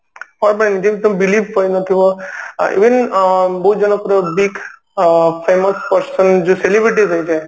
ଯେମତି ତମେ believe କରି ନଥିବ even ବହୁତ ଜାଗା ଅ ପୁରା week famous person ଅ ଯୋଉ celebrate ହୋଇଯାଏ